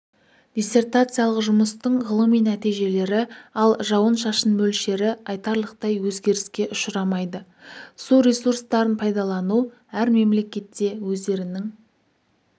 диссертациялық жұмыстың ғылыми нәтижелері ал жауын-шашын мөлшері айтарлықтай өзгеріске ұшырамайды су ресурстарын пайдалану әр мемлекетте өздерінің